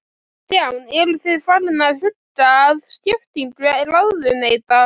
Kristján: Eru þið farin að huga að skiptingu ráðuneyta?